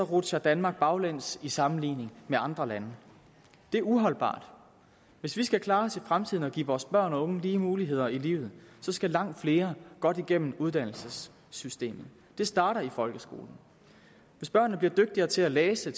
rutsjer danmark baglæns i sammenligning med andre lande det er uholdbart hvis vi skal klare os fremtiden og give vores børn og unge lige muligheder i livet skal langt flere godt igennem uddannelsessystemet det starter i folkeskolen hvis børnene bliver dygtigere til at læse